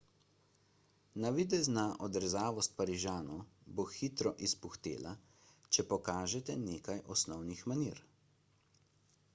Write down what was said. navidezna odrezavost parižanov bo hitro izpuhtela če pokažete nekaj osnovnih manir